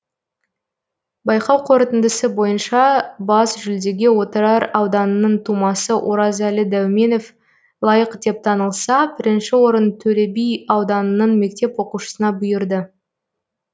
байқау қорытындысы бойынша бас жүлдеге отырар ауданының тумасы оразәлі дәуменов лайық деп танылса бірінші орын төлеби ауданының мектеп оқушысына бұйырды